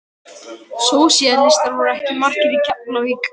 Sósíalistar voru ekki margir í Keflavík.